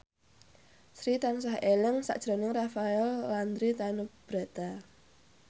Sri tansah eling sakjroning Rafael Landry Tanubrata